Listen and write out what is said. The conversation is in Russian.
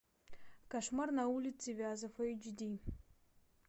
кошмар на улице вязов эйч ди